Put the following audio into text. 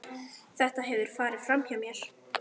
Þetta hefur farið framhjá mér!